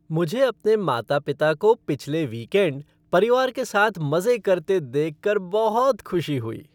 मुझे अपने माता पिता को पिछले वीकेंड परिवार के साथ मजे करते देखकर बहुत खुशी हुई।